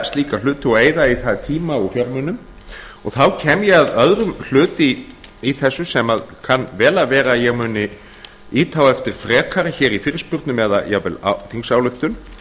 slíka hluti og eyða í það tíma og fjármunum og þá kem ég að öðrum hlut í þessu sem kann vel að vera að ég muni ýta á eftir frekara hér í fyrirspurnum eða jafnvel með þingsályktun